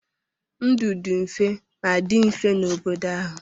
Ndụ dị mfe ma dị mfe n'obodo ahụ.